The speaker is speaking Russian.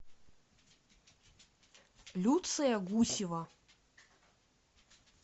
люция гусева